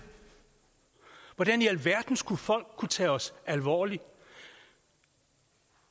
hvordan i alverden skal folk kunne tage os alvorligt